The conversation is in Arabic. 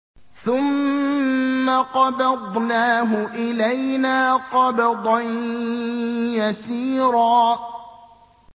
ثُمَّ قَبَضْنَاهُ إِلَيْنَا قَبْضًا يَسِيرًا